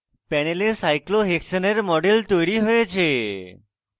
panel cyclohexane model তৈরী হয়েছে